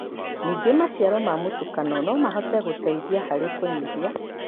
Ningĩ, maciaro ma mũtukanio no mahote gũteithia harĩ kũnyihia